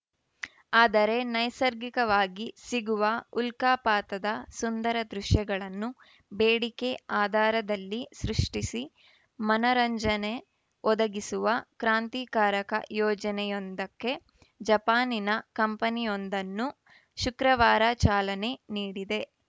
ಆದರೆ ನೈಸರ್ಗಿಕವಾಗಿ ಸಿಗುವ ಉಲ್ಕಾಪಾತದ ಸುಂದರ ದೃಶ್ಯಗಳನ್ನು ಬೇಡಿಕೆ ಆಧಾರದಲ್ಲಿ ಸೃಷ್ಟಿಸಿ ಮನರಂಜನೆ ಒದಗಿಸುವ ಕ್ರಾಂತಿಕಾರಕ ಯೋಜನೆಯೊಂದಕ್ಕೆ ಜಪಾನಿನ ಕಂಪನಿಯೊಂದನ್ನು ಶುಕ್ರವಾರ ಚಾಲನೆ ನೀಡಿದೆ